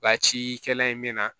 Wa cikɛla in bɛ na